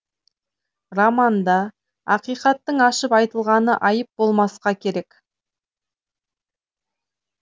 романда ақиқаттың ашып айтылғаны айып болмасқа керек